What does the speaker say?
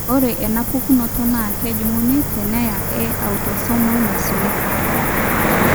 ore enapukunoto naa kejung'uni teneyia eautosomal naisula.